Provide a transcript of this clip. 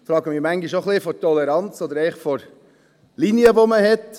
Ich frage mich manchmal ein wenig, welche Toleranz oder welche Linie man hat.